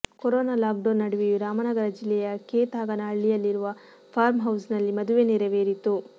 corona lockdown ನಡುವೆಯೂ ರಾಮನಗರ ಜಿಲ್ಲೆಯ ಕೇತಗಾನಹಳ್ಳಿಯಲ್ಲಿರುವ ಫಾರ್ಮ್ಹೌಸ್ನಲ್ಲಿ ಮದುವೆ ನೆರವೇರಿತು